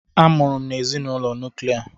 A mụrụ m n'ezinụlọ nuklia.